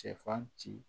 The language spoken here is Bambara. Cɛfan ci